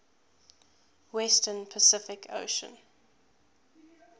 western pacific ocean